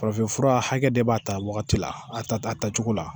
Farafinfura hakɛ de b'a ta wagati la a ta a tacogo la